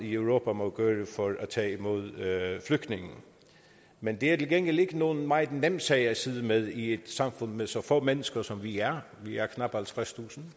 i europa for at tage imod flygtningene men det er til gengæld ikke nogen meget nem sag at sidde med i et samfund med så få mennesker som vi er vi er knap halvtredstusind